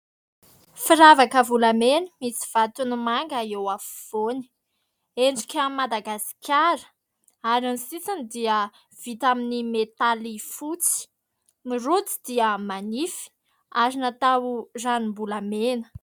Firavaka volamena misy vatony manga eo afovoany endrika Madagasikara ary ny sisiny dia vita amin'ny metaly fotsy ny rojo dia manify ary natao ranom-bolamena.